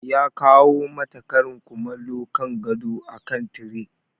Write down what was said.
Ya kawo mata karin kumallo kan gado akan tire.